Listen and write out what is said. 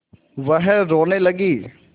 वह रोने लगी